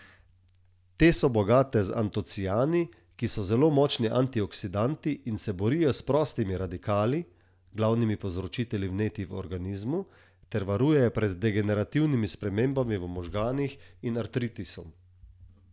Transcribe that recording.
Te so bogate z antociani, ki so zelo močni antioksidanti in se borijo s prostimi radikali, glavnimi povzročitelji vnetij v organizmu, ter varujejo pred degenerativnimi spremembami v možganih in artritisom.